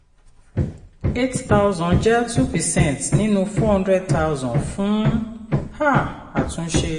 eight thousand jẹ́ two percent nínú four hundred thousand fún um àtúnṣe.